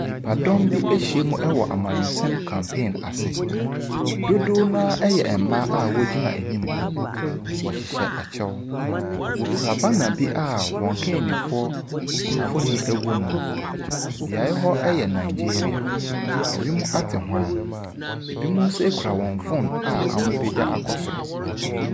Nnipadɔm bi ahyiam wɔ amannyɔsɛm campaign ase. Dodoɔ no ara yɛ mmaa a wɔgyina anim hɔ. Wɔhyehyɛ akyɛw. Wɔkura bannar a wɔn mpanimfoɔ mfonin wɔ mu, beaeɛ hɔ yɛ Nigeria. Ewim ate hwann. Ebinom nso kura wɔn phone a wɔapagya akɔ soro.